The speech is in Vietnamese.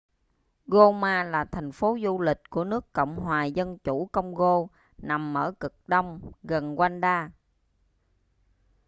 goma là thành phố du lịch của nước cộng hòa dân chủ công-gô nằm ở cực đông gần rwanda